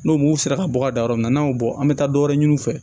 N'u m'u sera ka bɔ ka da yɔrɔ min n'an y'o bɔ an bɛ taa dɔ wɛrɛ ɲini u fɛ